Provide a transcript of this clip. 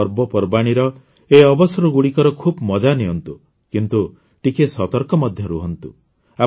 ଆପଣ ପବପର୍ବାଣୀର ଏହି ଅବସରଗୁଡ଼ିକର ଖୁବ୍ ମଜା ନିଅନ୍ତୁ କିନ୍ତୁ ଟିକିଏ ସତର୍କ ମଧ୍ୟ ରହନ୍ତୁ